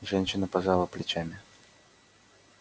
женщина пожала плечами